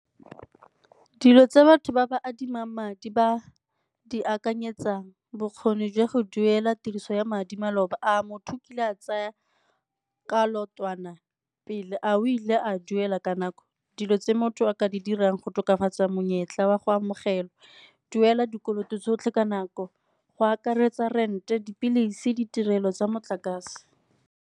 Dilo tsa batho ba ba adimang madi ba di akanyetsang, bokgoni jwa go duela tiriso ya madi maloba. A motho kile a tsaya ka leotwana pele, a o ile a duela ka nako dilo tse motho a ka di dirang go tokafatsa monyetla wa go amogelwa? Duela dikoloto tsotlhe ka nako, go akaretsa rent-e, dipilisi, ditirelo tsa motlakase.